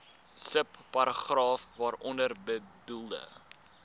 subparagraaf waaronder bedoelde